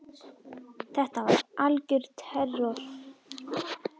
Þetta var algjör terror.